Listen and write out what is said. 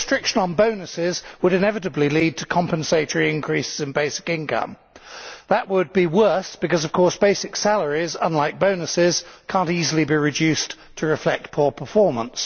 A restriction on bonuses would inevitably lead to compensatory increases in basic income. That would be worse because, of course, basic salaries unlike bonuses cannot easily be reduced to reflect poor performance.